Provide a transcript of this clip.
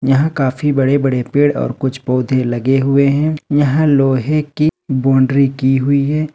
यहां काफी बड़े बड़े पेड़ और कुछ पौधे लगे हुए हैं यहां लोहे की बाउंड्री की हुई है।